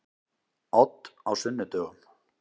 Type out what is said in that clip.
Odd á sunnudögum.